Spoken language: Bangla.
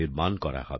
নির্মাণ করা হবে